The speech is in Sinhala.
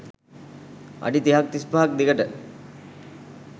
අඩි තිහක් තිස්පහක් දිගට